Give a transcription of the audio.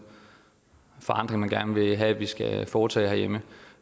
forandring man gerne vil have vi skal foretage herhjemme